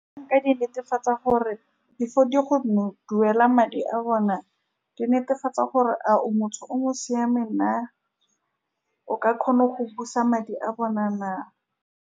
Nka di netefatsa gore, before go di duela madi a bona, ke netefatsa gore a o motho o mo siameng na, o ka kgona go busa madi a bona na.